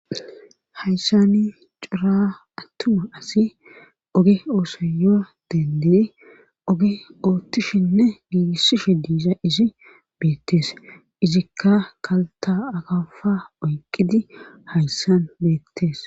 hayssani cura attuma asi oge oosoyoo dende oge oottishinne giigissishe diiza izi beettees izikka kalta akafa oyqidi hayssan beettees